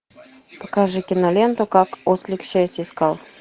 покажи киноленту как ослик счастье искал